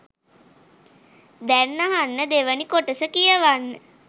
දැන් අහන්න දෙවනි කොටස කියවන්න.